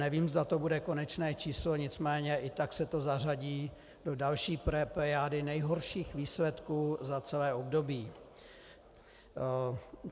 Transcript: Nevím, zda to bude konečné číslo, nicméně i tak se to zařadí do další plejády nejhorších výsledků za celé období.